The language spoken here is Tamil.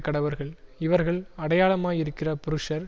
கடவர்கள் இவர்கள் அடையாளமாயிருக்கிற புருஷர்